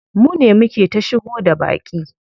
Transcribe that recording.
Mune muke ta shigo da baƙi.